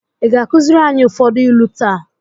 Ị ga-akụziri anyị ụfọdụ ilu taa?